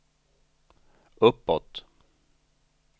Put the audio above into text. uppåt